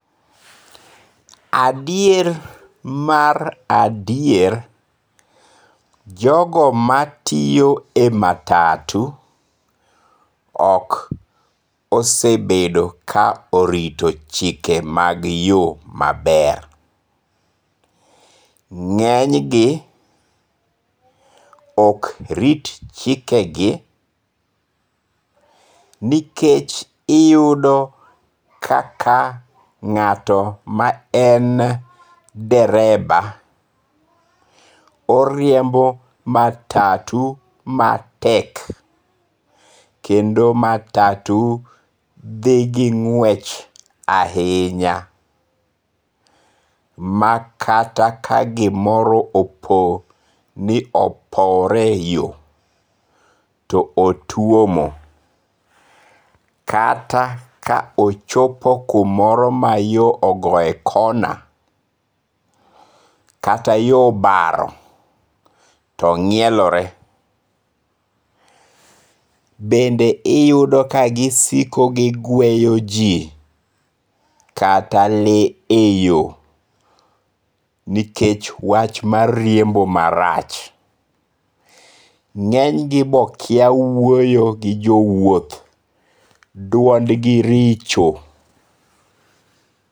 Adier mar adier, jogo ma tiyo e matatu ok osebedo ka orito chike mag yo maber, nge'nygi ok rit chikegi nikech iyudo kaka nga'to ma en dereba oriembo matatu matek kendo matatu dhi gi ng'wech ahinya, makata ka gimoro opowore yo to otuomo kata ka ochopo kumoro ma yo ogoye kona kata yo obaro to ngi'elore, bende iyudo ka gisiko ka gi gweyo ji kata lee e yo, nikech wach mar riembo marach, nge'nygi be kia wuoyo gi jo wuoth duondgi richo